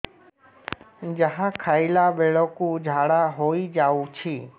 ଯାହା ଖାଇଲା ବେଳକୁ ଝାଡ଼ା ହୋଇ ଯାଉଛି